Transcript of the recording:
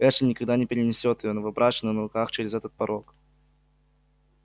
эшли никогда не перенесёт её новобрачную на руках через этот порог